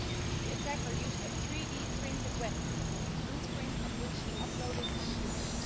The attacker used a 3D-printed weapon, the blueprint of which he uploaded on Twitter.